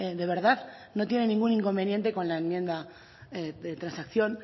de verdad no tiene ningún inconveniente con la enmienda de transacción